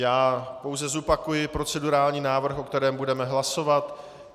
Já pouze zopakuji procedurální návrh, o kterém budeme hlasovat.